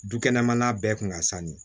Dukɛnɛmana bɛɛ tun ka sanu